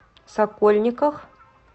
сокольниках